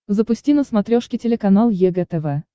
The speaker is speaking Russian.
запусти на смотрешке телеканал егэ тв